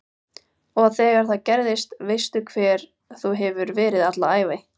Og þegar það gerist veistu hver þú hefur verið alla ævi